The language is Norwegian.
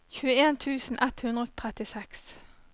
tjueen tusen ett hundre og trettiseks